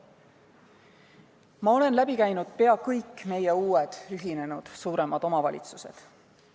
Ma olen läbi käinud peaaegu kõik meie uued ühinenud omavalitsused.